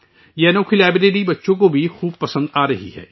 اس انوکھی لائبریری کو بچوں بھی بے حد پسند کر رہے ہیں